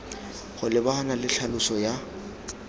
go lebagana le tlhaloso ya